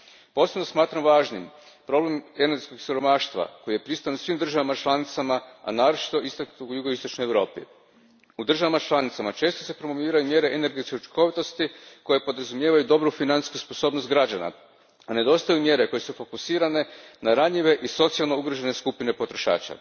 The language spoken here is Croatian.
Posebno smatram važnim problem energetskog siromaštva koji je prisutan u svim državama članicama, a naročito je istaknut u jugoistočnoj Europi. U državama članicama često se promoviraju mjere energetske učinkovitosti koje podrazumijevaju dobru financijsku sposobnost građana, a nedostaju mjere koje su fokusirane na ranjive i socijalno ugrožene skupine potrošača.